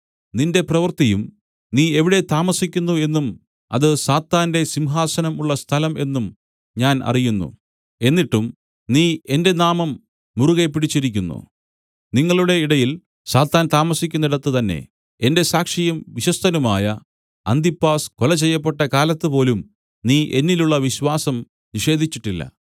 നിന്റെ പ്രവൃത്തിയും നീ എവിടെ താമസിക്കുന്നു എന്നും അത് സാത്താന്റെ സിംഹാസനം ഉള്ള സ്ഥലം എന്നും ഞാൻ അറിയുന്നു എന്നിട്ടും നീ എന്റെ നാമം മുറുകെ പിടിച്ചിരിക്കുന്നു നിങ്ങളുടെ ഇടയിൽ സാത്താൻ താമസിക്കുന്നിടത്ത് തന്നേ എന്റെ സാക്ഷിയും വിശ്വസ്തനുമായ അന്തിപ്പാസ് കൊല ചെയ്യപ്പെട്ട കാലത്തുപോലും നീ എന്നിലുള്ള വിശ്വാസം നിഷേധിച്ചിട്ടില്ല